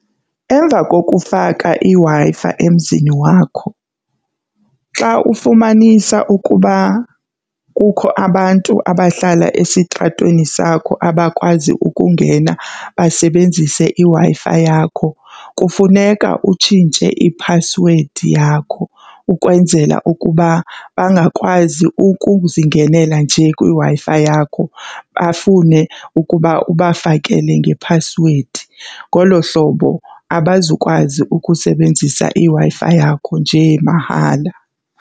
Emva koko ukufaka iWi-Fi emzini wakho xa ufumanisa ukuba kukho abantu abahlala esitratweni sakho abakwazi ukungena basebenzise iWi-Fi yakho, kufuneka utshintshe iphasiwedi yakho ukwenzela ukuba bangakwazi ukuzingenela nje kwiWi-Fi yakho bafune ukuba ubafakele ngephasiwedi. Ngolo hlobo abazukwazi ukusebenzisa iWi-Fi yakho njee mahala.